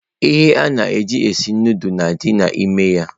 Ihe ana eji esi nudulu na adị n'ime ya.